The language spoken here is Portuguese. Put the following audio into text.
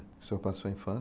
Que o senhor passou a infância